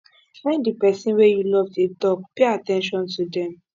when di person wey you love dey talk pay at ten tion to them